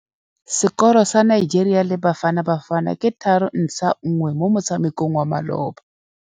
Sekôrô sa Nigeria le Bafanabafana ke 3-1 mo motshamekong wa malôba.